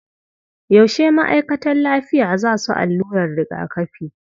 Yaushe ma'aikatan lafiya za su allurar rigakafi?